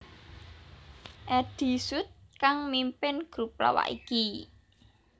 Eddy Sud kang mimpin grup lawak iki